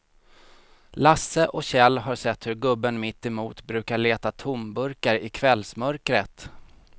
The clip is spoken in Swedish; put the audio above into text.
Lasse och Kjell har sett hur gubben mittemot brukar leta tomburkar i kvällsmörkret.